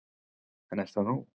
En er það nóg